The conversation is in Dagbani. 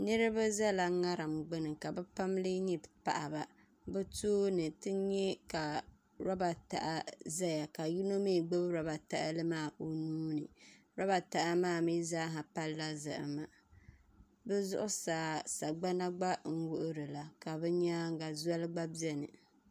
Niraba ʒɛla ŋarim gbuni ka bi pam lee nyɛ paɣaba bi tooni ti nyɛ ka roba taha ʒɛya ka yino mii gbubi roba tahali maa o nuuni roba taha maa mii zaaha palila zahama bi zuɣusaa sagbana n wuhurila ka bi nyaanga zoli gba biɛni